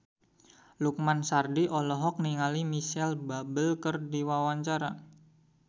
Lukman Sardi olohok ningali Micheal Bubble keur diwawancara